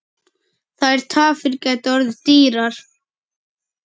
Þær tafir geti orðið dýrar.